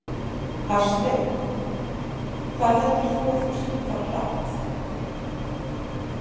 Hafsteinn: Hvað heldurðu að þú sért að fara hratt?